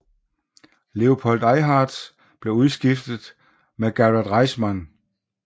Léopold Eyharts blev udskiftet med Garrett Reisman